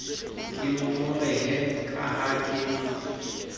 ke ngongorehe ka ha ke